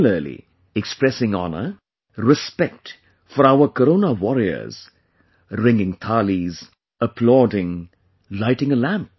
Similarly, expressing honour, respect for our Corona Warriors, ringing Thaalis, applauding, lighting a lamp